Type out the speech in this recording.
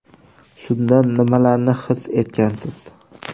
Shunda nimalarni his etgansiz?